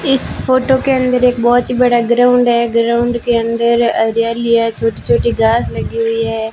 इस फोटो के अंदर एक बहुत ही बड़ा ग्राउंड है ग्राउंड के अंदर हरियाली है छोटी छोटी घास लगी हुई है।